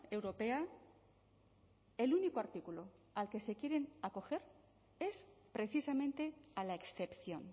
europea el único artículo al que se quieren acoger es precisamente a la excepción